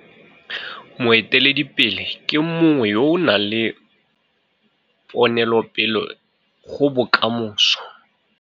Moeteledi ke mongwe yo o nang ponopele go bokamoso.